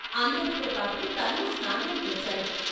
అందరితో పాటు తనూ స్నానానికి వచ్చాడు.